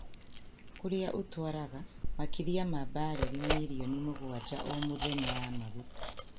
Kũrĩa ũtwaraga makĩria ma barili milioni mũgwaja o mũthenya ya maguta